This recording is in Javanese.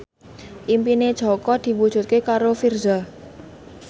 impine Jaka diwujudke karo Virzha